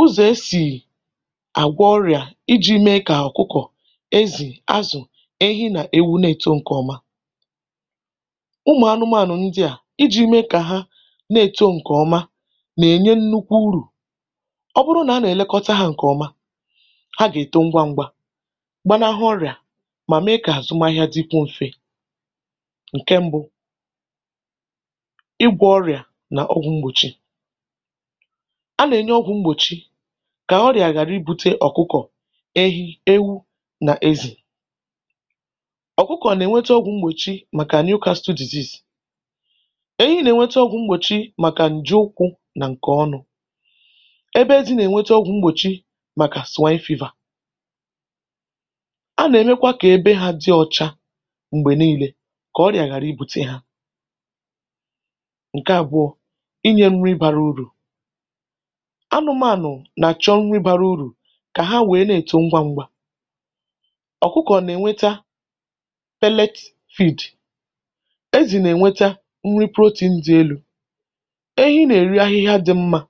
ụzọ̀ e sì àgwo ọrịà iji̇ mee kà ọ̀kụkọ̀, ezì, azụ̀, ehi, nà-èwu netȯ ǹkè ọma: ụmụ̀ anụmaànụ̀ ndị à iji̇ mee kà ha na-èto ǹkè ọma, nà-ènye nnukwu urù. Ọ bụrụnà a nà-èlekọta hȧ ǹkè ọma, ha gà-èto ngwa ngwȧ, gbanahụ ọrịà mà mee kà àzụmahịa dịkwo mfe. Nke mbụ, ịgwọ̇ ọrịà nà ọgwụ̇ mgbòchi: A nà-enye ọgwụ̀ mgbòchi kà ọrịà ghàrị ibu̇tė ọ̀kụkọ̀, ehi, ewu̇ nà ezì. Ọkụkọ̀ nà-ènwete ọgwụ̀ mgbòchi màkà Newcastle disease, ènyi nà-ènwete ọgwụ̀ mgbòchi màkà ǹje ụkwụ̇ nà ǹkè ọnụ,̇ ebe ezi nà-ènwete ọgwụ̀ mgbòchi màkà Swiǹe fiva. A nà-èmekwa kà ebe hȧ dị ọ̇chȧ m̀gbè nii̇lė kà ọrịà ghàrà ibu̇tė hȧ. Nke àbụọ,̇ inyė nri bara urù: Anụmànụ nà-àchọ nri barà urù kà ha wèe na-èto ngwa ngwa. Ọkụkọ̀ nà-ènweta felekt feed, ezì nà-ènweta nri protein dị̇ elu,̇ ehi nà-èri ahịhịa dị̇ mmȧ,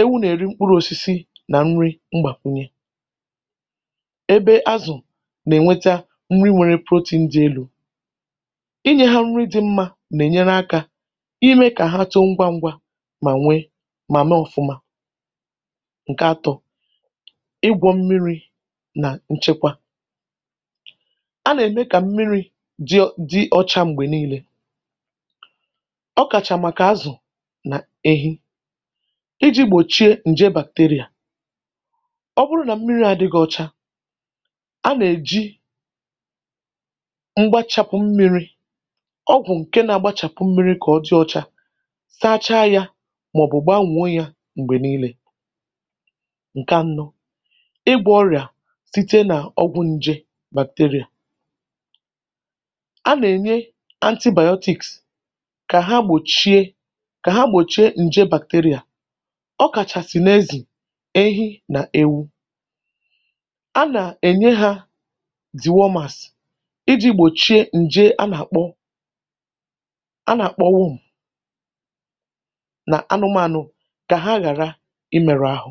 ewu nà-èri mkpụrụ̇osisi nà nri mgbàkwunye, ebe azụ̀ nà-ènweta nri nwere protein dị̇ elu.̇ Inyė ha nri dị̇ mmȧ nà-ènyere akȧ imė kà ha too ngwa ngwa mà nwe mà mee ọ̀fụma.̀ Nke atọ, ịgwọ̇ mmiri̇ nà nchekwa: a nà-ème kà mmiri̇ dị dị ọcha m̀gbè niilė. Ọ kàchà màkà azụ̀ n’ehi, iji̇ gbòchie ǹje bàkterịà. Ọ bụrụ nà mmiri̇ à adịghị ọcha, a nà-èji mgbachapụ mmiri,̇ ọgwụ̀ ǹke na-agbȧchàpụ mmiri̇ kà ọ dị ọcha saacha yȧ mà ọ̀ bụ̀ gbanwo ya mgbè niile. Nke anọ, ịgwọ̇ ọrịà site nà ọgwụ̇ nje bacteria: A nà-ènye antibiotics kà ha gbòchie kà ha gbòchie ǹje bacteria. Ọ kàchàsị̀ n’ezì, ehi, nà ewu. A nà-ènye hȧ dì wormas iji̇ gbòchie ǹje a nà-àkpọ a nà-àkpọ wum nà anụmȧnụ kà ha ghàrà ịmeru ahụ.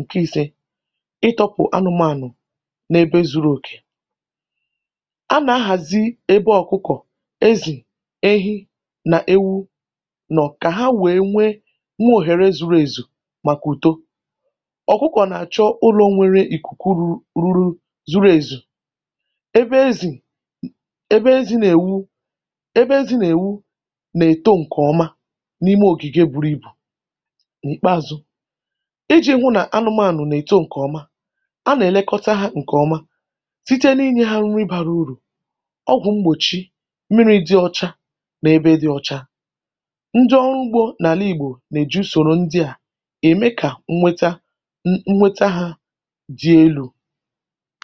Nke i̇sė, ịtọ̇pụ̀ anụmànụ̀ n’ebe zuru òkè: A nà-ahàzi ebe ọ̀kụkọ̀, ezì, ehi, nà ewu nọ̀ kà ha wèe nwe nwụọ̀ ghère zuru èzù màkà ùto. Ọkụkọ̀ nà-àchọ ụlọ̇ nwere ìkùkù ruru ruru zuru èzù, ebe ezì ebe ezi nà-èwu, ebe ezi nà-èwu, nà-èto ǹkè ọma n’ime ògìge buru ibù. N'ikpeazu, iji̇ hụ nà anụmànụ nà-èto ǹkè ọma, anà-èlekọta hȧ ǹkè ọma, site n’inyė ha nri bara urù, ọgwụ̀ mgbòchi, mmiri̇ dị ọcha n’ebe dị ọ̇cha. Ndị ọrụ ugbȯ n’àla ìgbò, nà-èju sòrò ndị à ème kà nnweta nnweta hȧ dị elu.̇